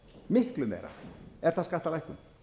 miklu meira er það skattalækkun